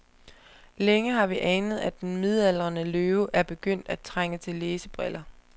Længe har vi anet, at den midaldrende løve er begyndt at trænge til læsebriller.